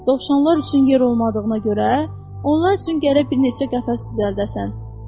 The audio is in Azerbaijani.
Dovşanlar üçün yer olmadığına görə, onlar üçün gərək bir neçə qəfəs düzəldəsən.